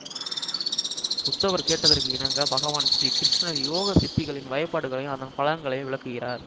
உத்தவர் கேட்டதற்கு இணங்க பகவான் ஸ்ரீகிருஷ்ணர் யோக சித்திகளின் வகைப்பாடுகளையும் அதன் பலன்களையும் விளக்குகிறார்